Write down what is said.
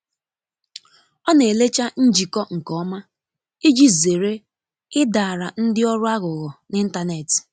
ọ na elecha njiko nke ọma iji zere idaara ndi ọrụ aghughọ n'intanetị